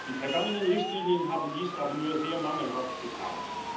Die vergangenen Richtlinien haben dies aber nur sehr mangelhaft getan.